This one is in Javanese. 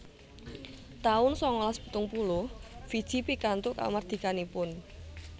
taun sangalas pitung puluh Fiji pikantuk kamardikanipun